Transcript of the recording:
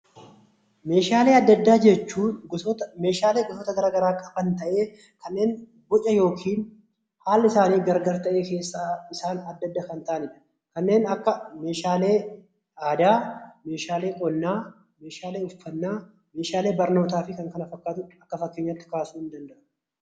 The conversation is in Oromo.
Meeshaalee addaa addaa jechuun Meeshaalee gosoota garaagaraa irraa dhufan ta'ee kanneen boca yookiin haalli isaanii gargar ta'e keessaa isaan adda adda kan ta'anidha. Kanneen akka meeshaa aadaa, Meeshaalee qonnaa, Meeshaalee uffannaa, Meeshaalee barnoota fi kanneen kana fakkaatu akka fakkeenyaatti kaasuun ni danda'ama.